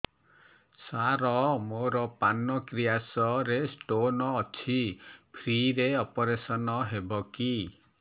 ସାର ମୋର ପାନକ୍ରିଆସ ରେ ସ୍ଟୋନ ଅଛି ଫ୍ରି ରେ ଅପେରସନ ହେବ କି